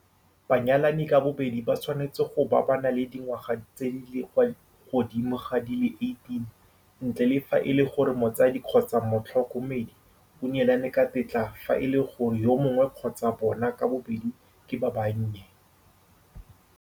Banyalani ka bobedi ba tshwanetse go bo ba na le dingwaga tse di kwa godimo ga di le 18, ntle le fa e le gore motsadi kgotsa motlhoko medi o neelane ka tetla fa e le gore yo mongwe kgotsa bona ka bobedi ke ba bannye.